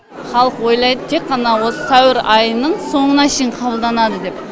халық ойлайды тек қана осы сәуір айының соңына шейін қабылданады деп